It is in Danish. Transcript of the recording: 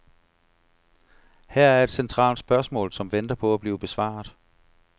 Her er et centralt spørgsmål, som venter på at blive besvaret.